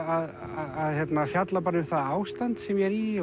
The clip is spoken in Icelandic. að fjalla um það ástand sem ég er í